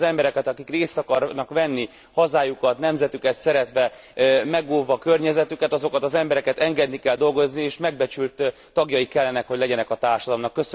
Azokat az embereket, akik részt akarnak venni hazájukat, nemzetüket szeretve, megóvva környezetüket, azokat az embereket engedni kell dolgozni és megbecsült tagjai kellenek, hogy legyenek a társadalomnak.